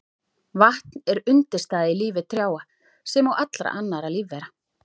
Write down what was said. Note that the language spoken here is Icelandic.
Vatn er undirstaða í lífi trjáa sem og allra annarra lífvera.